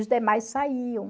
Os demais saíam.